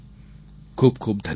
ખૂબખૂબ ધન્યવાદ